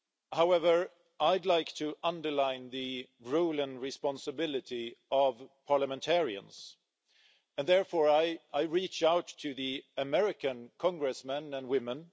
However, I'd like to underline the role and responsibility of parliamentarians, and therefore I reach out to American Congressmen and women.